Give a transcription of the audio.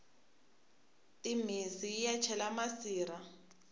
timhisi yiya cela masirha